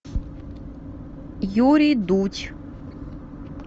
юрий дудь